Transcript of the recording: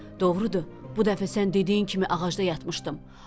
doğrudur, bu dəfə sən dediyin kimi ağacda yatmışdım.